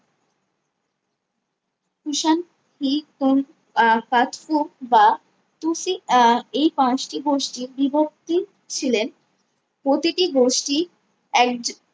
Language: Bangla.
কুষাণ এই কোন আহ কাস্মক বা তুসি আহ এই পাঁচটি গোষ্ঠী বিবর্তী ছিলেন প্রতিটি গোষ্ঠী একজন